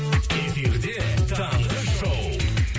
эфирде таңғы шоу